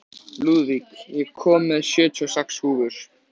Lúðvíg, ég kom með sjötíu og sex húfur!